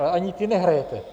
Ale ani ty nehrajete.